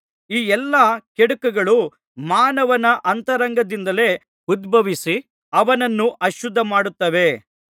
ಈ ಎಲ್ಲಾ ಕೆಡುಕುಗಳು ಮಾನವನ ಅಂತರಂಗದಿಂದಲೇ ಉದ್ಭವಿಸಿ ಅವನನ್ನು ಅಶುದ್ಧ ಮಾಡುತ್ತವೆ